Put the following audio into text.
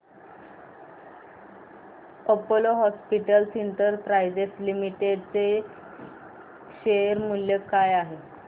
Apollo Hospitals Enterprise Limited चे share मूल्य काय आहे सांगा